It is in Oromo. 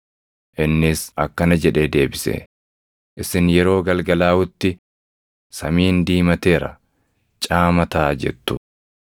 Innis akkana jedhee deebise; “Isin yeroo galgalaaʼutti, ‘Samiin diimateera; caama taʼa’ jettu;